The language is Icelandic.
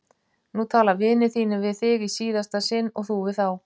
Nú tala vinir þínir við þig í síðasta sinn og þú við þá!